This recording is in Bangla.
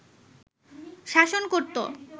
শাসন করত